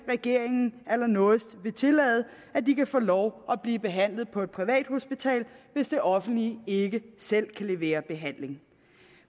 regeringen allernådigst vil tillade at de kan få lov at blive behandlet på et privathospital hvis det offentlige ikke selv kan levere behandling